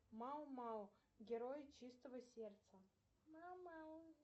мау мау герои чистого сердца